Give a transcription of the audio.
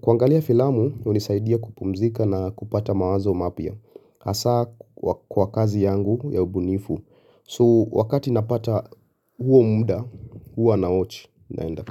Kuangalia filamu unisaidia kupumzika na kupata mawazo mapya hasa kwa kazi yangu ya ubunifu. So wakati napata huo muda huwa nawatch naenda.